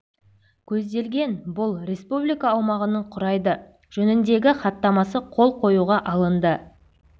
көзделген бұл республика аумағының құрайды жөніндегі хаттамасы қол қоюға алынды